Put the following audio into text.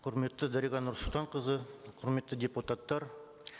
құрметті дариға нұрсұлтанқызы құрметті депутаттар